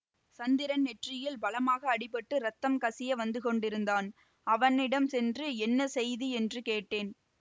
சந்திரன் நெற்றியில் பலமான அடிபட்டு இரத்தம் கசிய வந்துகொண்டிருந்தான் அவனிடம் சென்று என்ன செய்தி என்று கேட்டேன்